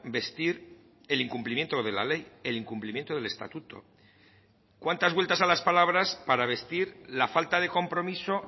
vestir el incumplimiento de la ley el incumplimiento del estatuto cuántas vueltas a las palabras para vestir la falta de compromiso